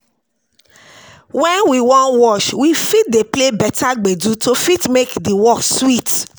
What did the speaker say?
When we wan wash, we fit dey play better gbedu to fit make di work sweet